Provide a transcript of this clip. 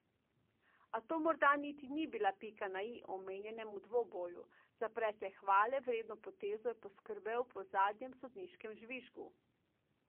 A to morda niti ni bila pika na i omenjenemu dvoboju, za precej hvale vredno potezo je poskrbel po zadnjem sodniškem žvižgu.